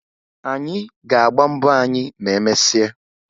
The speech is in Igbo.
Anyị ga-agba mbọ anyị ma emesịa